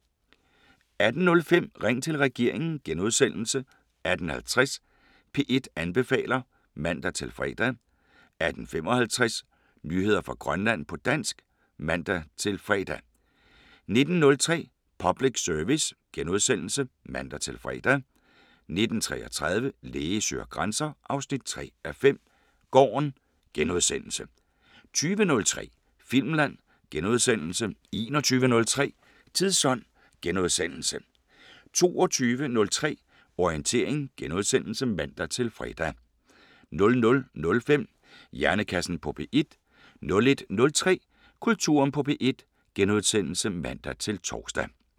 18:05: Ring til regeringen * 18:50: P1 anbefaler (man-fre) 18:55: Nyheder fra Grønland på dansk (man-fre) 19:03: Public Service *(man-fre) 19:33: Læge søger grænser 3:5 – Gården * 20:03: Filmland * 21:03: Tidsånd * 22:03: Orientering *(man-fre) 00:05: Hjernekassen på P1 * 01:03: Kulturen på P1 *(man-tor)